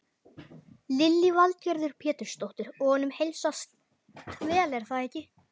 Lillý Valgerður Pétursdóttir: Og honum heilsast vel er það ekki?